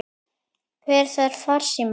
Hver þarf farsíma?